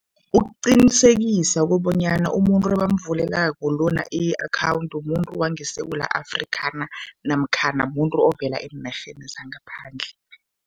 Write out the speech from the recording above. Ukuqinisekisa kobanyana umuntu ebamvulelako lona i-akhawundi muntu wangeSewula Afrika na namkhana muntu ovela eenarheni zangaphandle.